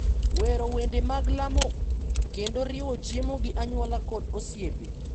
wero wende mag lamo, kendo riwo chiemo gi anyuola kod osiepe.